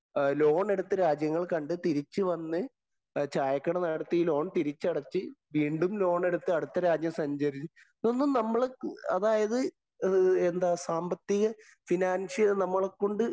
ലോണെടുത്ത് രാജ്യങ്ങള്‍ കണ്ടു തിരിച്ചു വന്നു ചായക്കട നടത്തി ഈ ലോണ്‍ തിരിച്ചടച്ച്‌ വീണ്ടും ലോണ്‍ എടുത്ത് അടുത്ത രാജ്യം സഞ്ചരിച്ചു.. ഇതൊന്നും നമ്മള് അതായത് എന്താ സാമ്പത്തിക ഫിനാന്‍ഷ്യല്‍ നമ്മളെ കൊണ്ട്